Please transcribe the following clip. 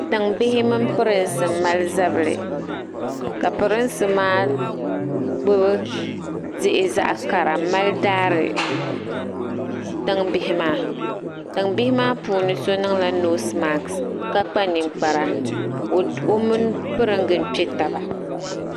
Tiŋ bihi mini prinsi m mali zabili ka prinsi maa gbubi diɣi zaɣi kara m mali daari tiŋ bihi maa tɔm bihi maa puuni so niŋla nosi maɣis ka kpa ninkpara o mini pringi m kpɛ taba ni.